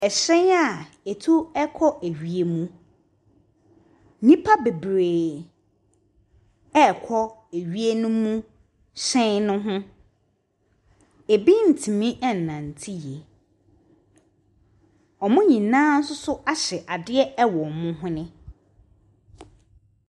Hyɛn a ɛtu kɔ wiem. Nnipa bebree ɛrekɔ wiemhyɛn ne ho. Binom ntumi nnante yie. Wɔn nyinaa nso ahyɛ adeɛ wɔ wɔn hwene.